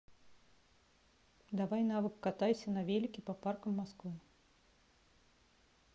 давай навык катайся на велике по паркам москвы